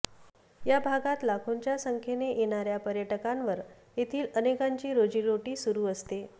या भागांत लाखोंच्या संख्येने येणाऱ्या पर्यटकांवर येथील अनेकांची रोजीरोटी सुरू असते